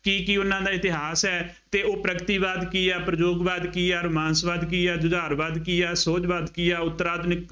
ਕੀ ਕੀ ਉਹਨਾ ਦਾ ਇਤਿਹਾਸ ਹੈ ਅਤੇ ਉਹ ਪ੍ਰਗਤੀਵਾਕ ਕੀ ਹੈ, ਪ੍ਰਯੋਗਵਾਦ ਕੀ ਹੈ, ਅੋਰ ਮਾਨਸਵਾਦ ਕੀ ਹੈ, ਜੁਝਾਰਵਾਦ ਕੀ ਹੈ, ਸੋਝਵਾਦ ਕੀ ਹੈ, ਉੱਤਰ ਆਧੁਨਿਕ